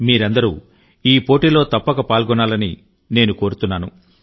మీరందరూ ఈ పోటీలో తప్పక పాల్గొనాలని నేను కోరుతున్నాను